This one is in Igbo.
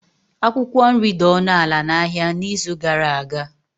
Akwukwo nri dị ọnụ ala n'ahịa n'izu gara aga.